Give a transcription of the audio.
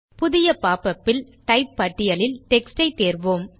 புதிய popupல் டைப் பட்டியலில் டெக்ஸ்ட் ஐ தேர்வோம்